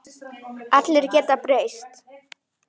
Allir geta breyst.